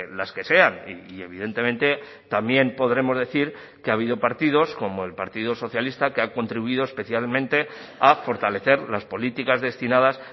las que sean y evidentemente también podremos decir que ha habido partidos como el partido socialista que ha contribuido especialmente a fortalecer las políticas destinadas